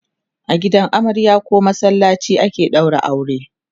a gidan amarya koh masallaci ake ɗaura aure